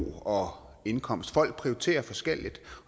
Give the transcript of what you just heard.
og indkomst folk prioriterer forskelligt